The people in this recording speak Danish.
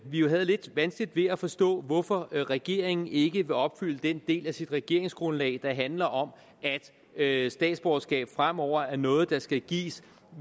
vi jo havde lidt vanskeligt ved at forstå hvorfor regeringen ikke vil opfylde den del af sit regeringsgrundlag der handler om at at statsborgerskab fremover er noget der skal gives